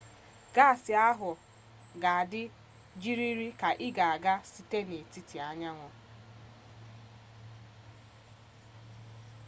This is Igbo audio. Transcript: gaasị ahụ ga-adị gịrịrị ka ị ga-aga site n'etiti anyanwụ